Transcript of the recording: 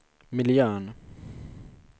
miljön